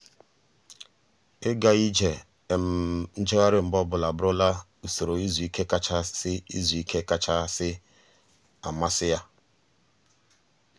ịga ije um njegharị mgbe ọbụla abụrụla usoro izu ike kachasị izu ike kachasị um amasị ya. um